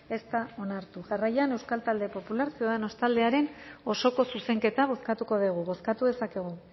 ez da onartu jarraian euskal talde popular ciudadanos taldearen osoko zuzenketa bozkatuko dugu bozkatu dezakegu